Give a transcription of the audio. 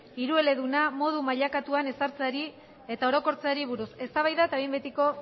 hirueleduna modu mailakatuan ezartzeari eta orokortzeari buruz eztabaida eta behin betiko